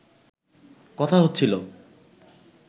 কথা হচ্ছিল